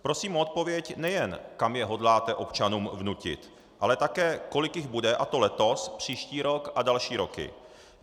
Prosím o odpověď, nejen kam je hodláte občanům vnutit, ale také kolik jich bude, a to letos, příští rok a další roky.